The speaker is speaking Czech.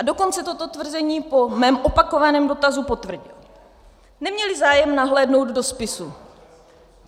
A dokonce toto tvrzení po mém opakovaném dotazu potvrdil: neměli zájem nahlédnout do spisu.